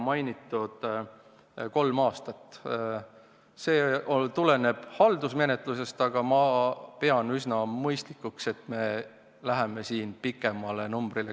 Mainitud kolme aasta tähtaeg tuleneb haldusmenetlusest, aga ma pean üsna mõistlikuks, et me valime pikema tähtaja.